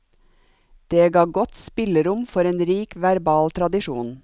Det ga godt spillerom for en rik verbal tradisjon.